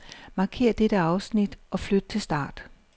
Markér dette afsnit og flyt til start.